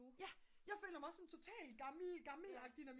ja jeg føler mig også total gammelagtig når min